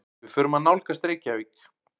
Við förum að nálgast Reykjavík.